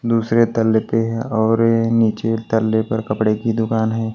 दूसरे तले पे है और नीचे तल्ले पर कपड़े की दुकान है।